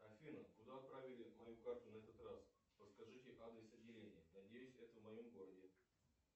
афина куда отправили мою карту на этот раз подскажите адрес отделения надеюсь это в моем городе